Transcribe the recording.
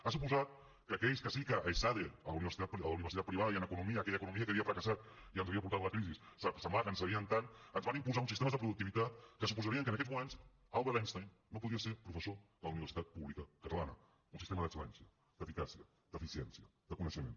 ha suposat que aquells que sí que a esade a la universitat privada i en economia aquella economia que havia fracassat i ens havia portat la crisi semblava que en sabien tant ens van imposar uns sistemes de productivitat que suposarien que en aquests moments albert einstein no podria ser professor de la universitat pública catalana un sistema d’excel·lència d’eficàcia d’eficiència de coneixement